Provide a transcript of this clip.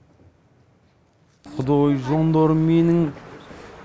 құдой жандарым менің